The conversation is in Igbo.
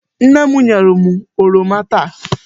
Nne m nyere m oroma taa.